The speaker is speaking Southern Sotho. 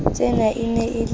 tsena e ne e le